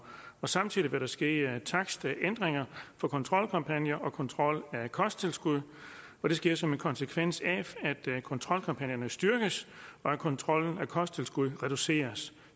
samtidig vil der ske takstændringer for kontrolkampagner og kontrol af kosttilskud og det sker som en konsekvens af at kontrolkampagnerne styrkes og kontrollen af kosttilskud reduceres